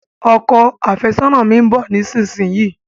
Ọkọ àfẹ́sọ́nà mi n bọ̀ nísinsìnyí